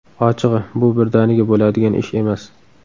Ochig‘i, bu birdaniga bo‘ladigan ish emas.